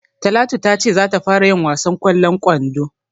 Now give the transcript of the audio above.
Talatu ta ce za ta fara yin wasan ƙwallon kwando.